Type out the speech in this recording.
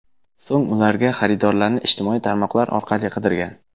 So‘ng ularga xaridorlarni ijtimoiy tarmoqlar orqali qidirgan.